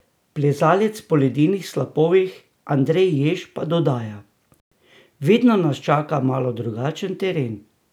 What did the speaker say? Plezalec po ledenih slapovih Andrej Jež pa dodaja: "Vedno nas čaka malo drugačen teren.